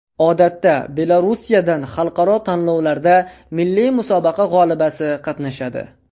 Odatda Belorussiyadan xalqaro tanlovlarda milliy musobaqa g‘olibasi qatnashadi.